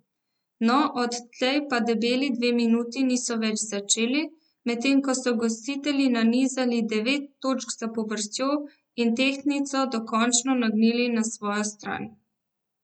No, odtlej pa debeli dve minuti niso več začeli, medtem ko so gostitelji nanizali devet točk zapovrstjo in tehtnico dokončno nagnili na svojo stran.